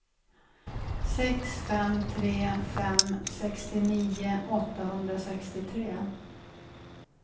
sex fem tre fem sextionio åttahundrasextiotre